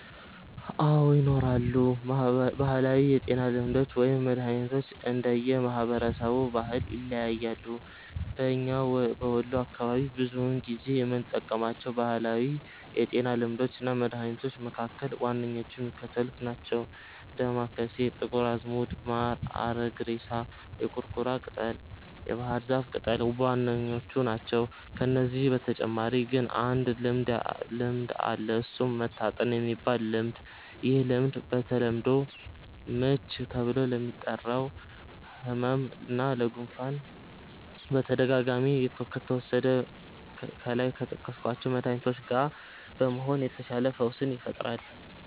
አዎ! ይኖራሉ። ባህላዊ የጤና ልምዶች ወይም መድሀኒቶች እንደየ ማህበረሰቡ ባህል ይለያያሉ። በኛ በወሎ አካባቢ ብዙውን ጊዜ የምንጠቀማቸው ባህላዊ የጤና ልምዶች እና መድሀኒቶች መካከል ዋነኛዎቹ የሚከተሉት ናቸው። ዳማከሴ፣ ጥቁር አዝሙድ፣ ማር፣ አረግሬሳ፣ የቁርቁራ ቅጠል፣ የባህር ዛፍ ቅጠል ዋናዎቹ ናቸው። ከነዚህ በተጨማሪ ግን አንድ ልምድ አለ እሱም "መታጠን"የሚባል ልምድ፤ ይህ ልምድ በተለምዶ "ምች" ተብሎ ለሚጠራው ህመም እና ለ"ጉፋን"በተደጋጋሚ ከተወሰደ ከላይ ከጠቀስኳቸው መድሀኒቶች ጋ በመሆን የተሻለ ፈውስን ይፈጥራል።